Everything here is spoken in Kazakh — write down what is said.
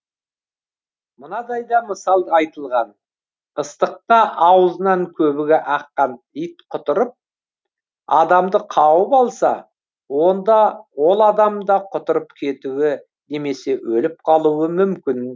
мынадай да мысал айтылған ыстықта аузынан көбігі аққан ит құтырып адамды қауып алса онда ол адам да құтырып кетуі немесе өліп қалуы мүмкін